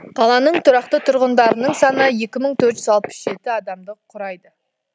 қаланың тұрақты тұрғындарының саны екі мың төрт жүз алпыс жеті адамды құрайды